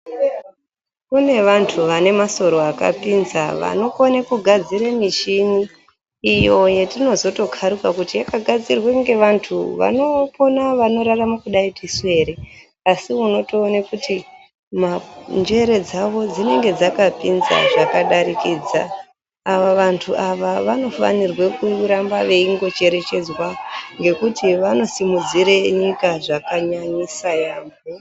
Kune vantu vane masoro akapinza vanokone kugadzira michini iyo yatinozotokaruka kuti yakagadzirwe nevantu vanopona kurarama kudai ndisu ere asi unotoone kuti njere dzavo dzinenge dzakapinza zvakadarikidza. Ava vantu ava vanofana kuramba veindocherechedzwa nekuti vanosimudzire nyika zvakanyanyisa yaambo.